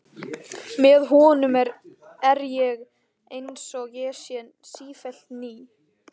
Með honum er ég einsog ég sé sífellt ný.